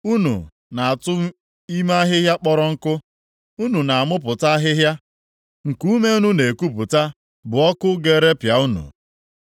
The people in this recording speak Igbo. Unu na-atụ ime ahịhịa kpọrọ nkụ, unu na-amụpụta ahịhịa, nkuume unu na-ekupụta bụ ọkụ ga-erepịa unu.